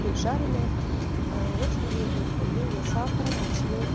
жареная очень вредно употребления сахара ручной